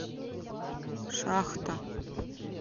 шахта